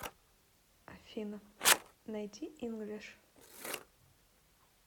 афина найди инглиш